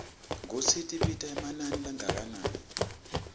kutsi tibita emanani langakanani